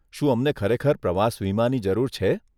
શું અમને ખરેખર પ્રવાસ વિમાની જરૂર છે?